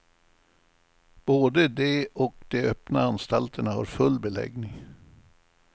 Både de och de öppna anstalterna har full beläggning.